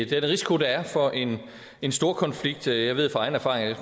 til den risiko der er for en storkonflikt jeg ved af egen erfaring